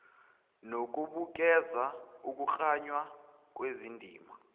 nokubukeza ukuklanywa kwezindima